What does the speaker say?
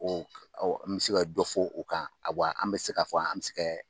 Ɔ n bɛ se ka dɔ fɔ o kan wa an bɛ se k'a fɔ an se ka